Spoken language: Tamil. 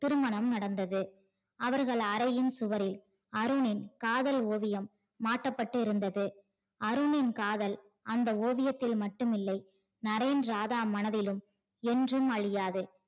திருமணம் நடந்தது அவர்கள் அறையில் சுவரில் அருணின் காதல் ஓவியம் மாற்றப்பட்டிருந்தது. அருணின் காதல் அந்த ஓவியதில் மட்டுமில்லை நரேன் ராதா மனதிலும் என்றும் அழியாது.